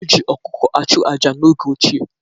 E ji ọkụkọ achụ aja n'oge ochie.